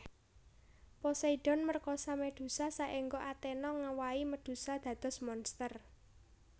Poseidon merkosa Medusa saengga Athena ngewahi Medusa dados monster